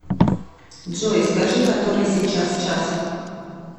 джой скажи который сейчас час